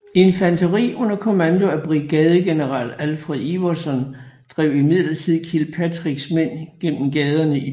Infanteri under kommando af brigadegeneral Alfred Iverson drev imidlertid Kilpatricks mænd gennem gaderne i byen